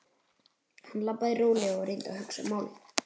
Hann labbaði rólega og reyndi að hugsa málið.